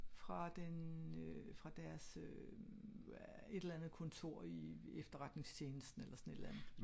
Fra den øh fra deres øh et eller andet kontor i i efterretningstjenesten eller sådan et eller andet